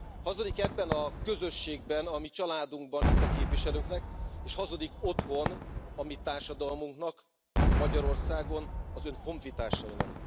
Hazudik ebben a közösségben, a mi családunkban, itt a képviselőknek, és hazudik otthon, a mi társadalmunknak, Magyarországon, az ön honfitársainak.